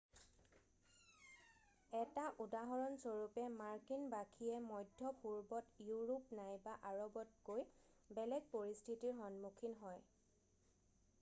1 টা উদাহৰণস্বৰূপে মাৰ্কিন বাসীয়ে মধ্যপূৰ্বত ইউৰোপ নাইবা আৰৱতকৈ বেলেগ পৰিস্থিতিৰ সন্মুখীন হয়